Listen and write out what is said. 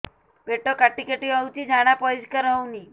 ପେଟ କାଟି କାଟି ହଉଚି ଝାଡା ପରିସ୍କାର ହଉନି